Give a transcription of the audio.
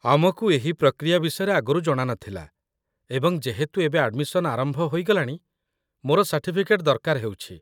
ଆମକୁ ଏହି ପ୍ରକ୍ରିୟା ବିଷୟରେ ଆଗରୁ ଜଣା ନଥିଲା, ଏବଂ ଯେହେତୁ ଏବେ ଆଡମିସନ୍ ଆରମ୍ଭ ହୋଇଗଲାଣି, ମୋର ସାର୍ଟିଫିକେଟ୍ ଦରକାର ହେଉଛି